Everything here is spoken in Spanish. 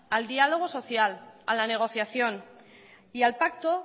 al diálogo social a la negociación y al pacto